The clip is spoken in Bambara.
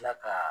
Tila ka